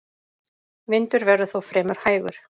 Vindur verður þó fremur hægur